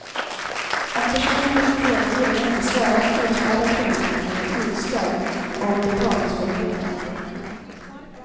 Om personen blivit delgiven och inte svarat utfärdar kronofogden ett utslag om betalningsföreläggande.